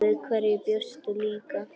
Við hverju bjóstu líka?